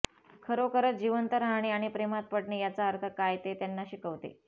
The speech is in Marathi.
खरोखरच जिवंत राहणे आणि प्रेमात पडणे याचा अर्थ काय ते त्यांना शिकवते